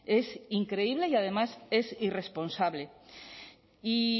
es increíble y además es irresponsable y